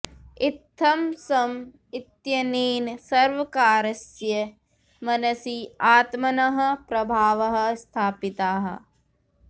इत्थं सॅम इत्यनेन सर्वकारस्य मनसि आत्मनः प्रभावः स्थापितः